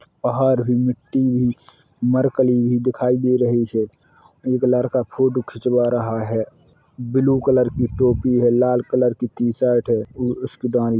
पहाड़ है मिट्टी भी मरकली भी दिखाई दे रही है | एक लड़का फ़ोटू खिंचवा रहा है | ब्लू कलर की टोपी है लाल कलर की टी शर्ट है | उ उसके दाई--